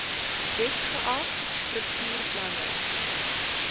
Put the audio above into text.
wet geag struktuurplanne